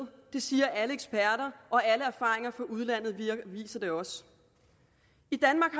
det siger alle eksperter og alle erfaringer fra udlandet viser det også i danmark